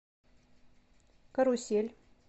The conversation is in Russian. карусель